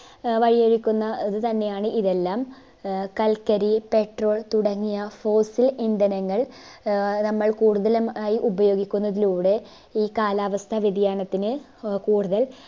ആഹ് വഴി ഒരുക്കുന്നത് തന്നെയാണ് ഇതെല്ലം ആഹ് കൽക്കരി petrol തുടങ്ങിയ fossil ഇന്ധനങ്ങൾ ആഹ് നമ്മൾ കൂടുതലും ആയി ഉപയോഗിക്കുന്നതിലൂടെ ഈ കാലാവസ്ഥ വ്യതിയാനത്തിന് ആഹ് കൂടുതൽ